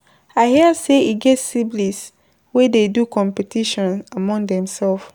I hear sey e get siblings wey dey do competition among themsef.